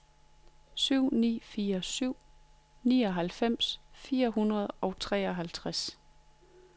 syv ni fire syv nioghalvfems fire hundrede og treoghalvtreds